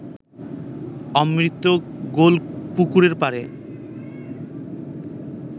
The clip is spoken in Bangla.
অমৃত গোলপুকুরপাড়ে